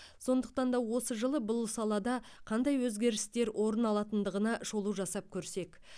сондықтан да осы жылы бұл салада қандай өзгерістер орын алатындығына шолу жасап көрсек